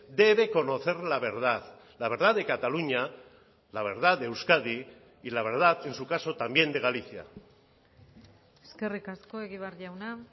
debe conocer la verdad la verdad de cataluña la verdad de euskadi y la verdad en su caso también de galicia eskerrik asko egibar jauna